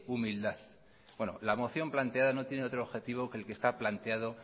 humildad bueno la moción planteada no tiene otro objetivo que es que está planteado